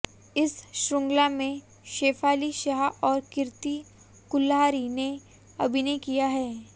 इस श्रृंखला में शेफाली शाह और कीर्ति कुल्हारी ने अभिनय किया है